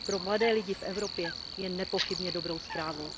Pro mladé lidi v Evropě je nepochybně dobrou zprávou.